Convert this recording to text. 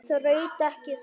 Þraut ekki þor.